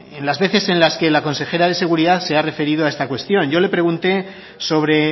en las veces en las que la consejera de seguridad se ha referido a esta cuestión yo le pregunté sobre